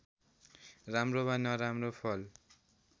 राम्रो वा नराम्रो फल